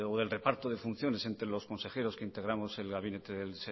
o el reparto de funciones entre los consejeros que integramos el gabinete